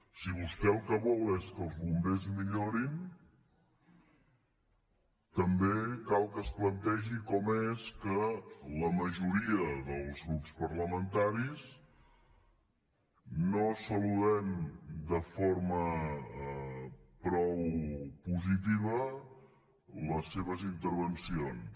si vostè el que vol és que els bombers millorin també cal que es plantegi com és que la majoria dels grups parlamentaris no saludem de forma prou positiva les seves intervencions